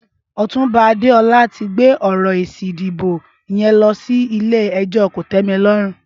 Ọtúnbá Adeola ti gbé ọrọ ésí idibó yèn lọsi ilé ẹjọ kótẹmilọrún